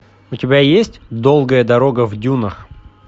у тебя есть долгая дорога в дюнах